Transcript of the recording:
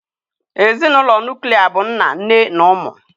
Ezinụlọ nuklia bụ nna nne na ụmụ.